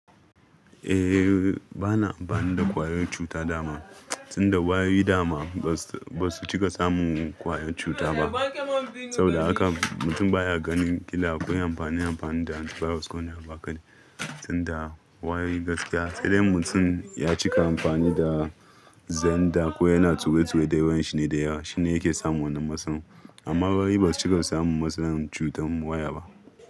Eh, ba na amfani da ƙwayoyin cuta dama tunda wayoyi dama ba su cika samun ƙwayan cuta ba. Saboda haka mutum baya ganin kila akwai amfani amfani da antivirus ko wane abu aka din tunda wayoyi gaskiya sai dai mutum ya cika amfani da Xender ko yana tuwe tuwe da yawanshi ne da yawa shine yake samu wana masalan. Amma wayoyi ba su cika samun masalan cutar waya ba.